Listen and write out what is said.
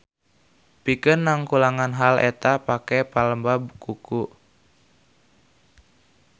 Pikeun nungkulan hal eta pake pelembab kuku.